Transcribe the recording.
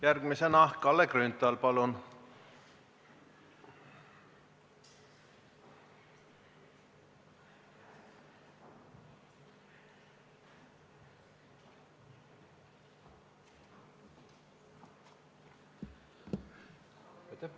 Järgmisena Kalle Grünthal, palun!